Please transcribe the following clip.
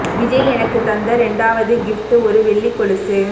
விஜய் எனக்குத் தந்த ரெண்டாவது கிஃப்ட் ஒரு வெள்ளிக் கொலுசு